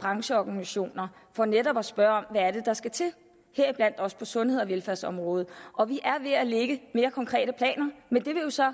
brancheorganisationer for netop at spørge om hvad det er der skal til heriblandt også på sundheds og velfærdsområdet og vi er ved at lægge mere konkrete planer men det vil jo så